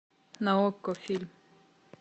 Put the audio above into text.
на окко фильм